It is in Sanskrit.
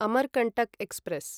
अमरकण्टक् एक्स्प्रेस्